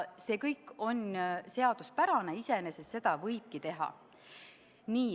See kõik on seaduspärane, iseenesest seda võib teha.